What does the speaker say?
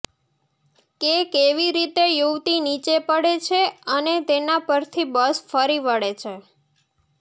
કે કેવી રીતે યુવતી નીચે પડે છે અને તેના પરથી બસ ફરીવળે છે